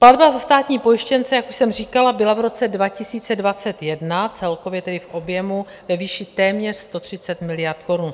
Platba za státní pojištěnce, jak už jsem říkala, byla v roce 2021 celkově tedy v objemu ve výši téměř 130 miliard korun, 127 miliard přesně.